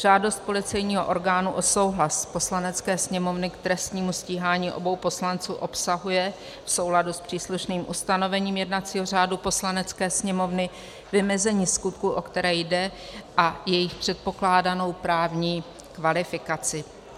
Žádost policejního orgánu o souhlas Poslanecké sněmovny k trestnímu stíhání obou poslanců obsahuje v souladu s příslušným ustanovením jednacího řádu Poslanecké sněmovny vymezení skutků, o které jde, a jejich předpokládanou právní kvalifikaci.